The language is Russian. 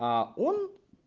а он